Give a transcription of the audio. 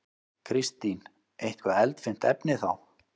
Kristín: Eitthvað eldfimt efni þá?